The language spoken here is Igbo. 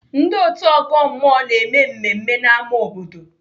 Ndị otu ọgọ mmụọ na-eme mmemme n'ámá obodo.